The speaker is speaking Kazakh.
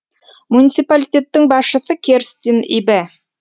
муниципалитеттің басшысы керстин ибе